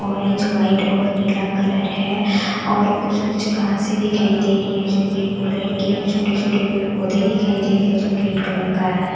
Orange white और नीला colour है और कुछ-कुछ घासे दिखाई दे रही है जो ग्रीन कलर की है छोटे-छोटे पेड़ पौधे दिखाई दे रहे हैं जो ग्रीन कलर का है।